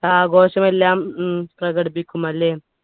ആഘോഷമെല്ലാം ഉം പ്രകടിപ്പിക്കും അല്ലേ